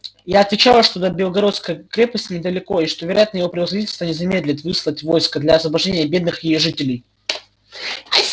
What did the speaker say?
я отвечала что до белогородской крепости недалеко и что вероятно его превосходительство не замедлит выслать войско для освобождения бедных её жителей